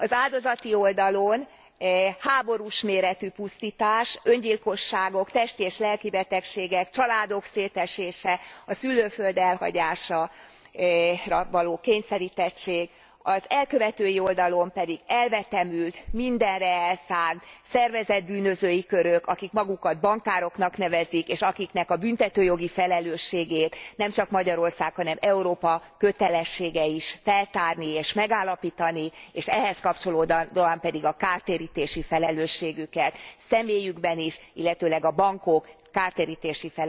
Az áldozati oldalon háborús méretű pusztítás, öngyilkosságok, testi és lelki betegségek, családok szétesése, a szülőföld elhagyására való kényszerítettség, az elkövetői oldalon pedig elvetemült, mindenre elszánt szervezett bűnözői körök, akik magukat bankároknak nevezik, és akiknek a büntetőjogi felelősségét nemcsak Magyarország, hanem Európa kötelessége is feltárni és megállapítani, és ehhez kapcsolódóan pedig a kártérítési felelősségüket, személyükben is, illetőleg a bankok kártérítési